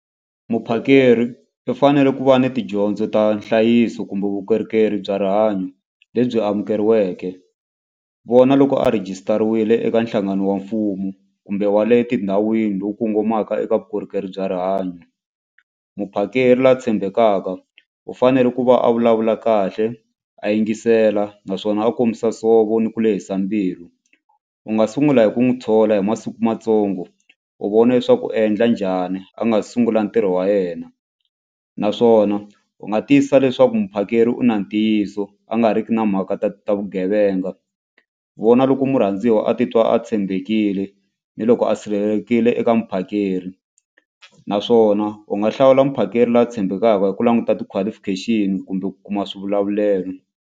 Muphakeri i fanele ku va ni tidyondzo ta nhlayiso kumbe vukorhokeri bya rihanyo lebyi amukeriweke. Vona loko a rhejisitariwile eka nhlangano wa mfumo kumbe wa le tindhawini lowu kongomaka eka vukorhokeri bya rihanyo. Muphakeri la tshembekaka u fanele ku va a vulavula kahle a yingisela naswona a kombisa nsovo ni ku lehisa mbilu. U nga sungula hi ku n'wi thola hi masiku matsongo u vona leswaku u endla njhani a nga sungula ntirho wa yena naswona u nga tiyisisa leswaku muphakeri u na ntiyiso a nga riki na mhaka ta ta vugevenga vona loko murhandziwa a titwa a tshembekile ni loko a sirhelelekile eka muphakeri naswona u nga hlawula muphakeri la tshembekaka hi ku languta ti-qualification kumbe ku kuma swivulavulelo.